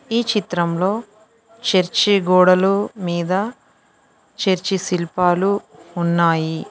ఈ చిత్రంలో చర్చి గోడలు మీద చర్చి శిల్పాలు ఉన్నాయి.